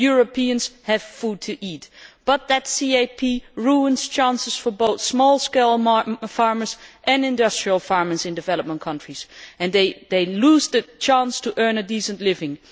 Europeans have food to eat, but that CAP ruins chances for both small scale farmers and industrial farmers in developing countries, and they lose the chance to earn a decent living.